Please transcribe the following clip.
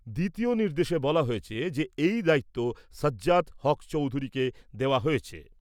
দ্বিতীয় নির্দেশে বলা হয়েছে যে, এই দায়িত্ব সাজ্জাদ হক চৌধুরী কে দেওয়া হয়েছে।